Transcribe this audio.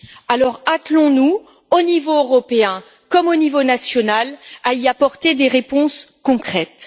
Alors, attelons nous au niveau européen, comme au niveau national, à y apporter des réponses concrètes.